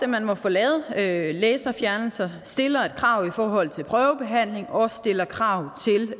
man må få lavet lavet laserfjernelser stiller et krav i forhold til prøvebehandling og stiller krav